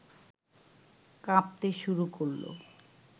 কাঁপতে শুরু করল